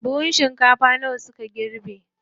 Buhun shinkafa nawa suka girbe?